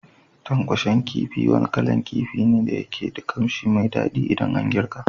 Tankwashen kifi wani kalan kifi ne da yake da kanshi mai dadi idan ana girki.